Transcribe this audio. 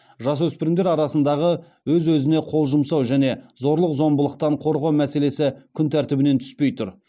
жасөспірімдер арасындағы өз өзіне қол жұмсау және зорлық зомбылықтан қорғау мәселесі күнтәртібінен түспей тұр